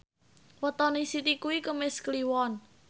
wetone Siti kuwi Kemis Kliwon